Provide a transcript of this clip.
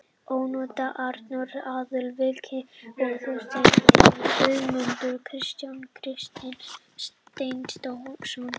Ónotaðir varamenn: Arnór Aðalsteinsson, Viktor Illugason, Þorsteinn Einarsson, Guðmundur Kristjánsson, Kristinn Steindórsson.